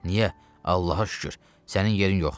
Niyə Allaha şükür sənin yerin yoxdur?